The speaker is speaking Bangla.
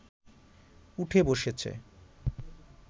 উঠে বসেছে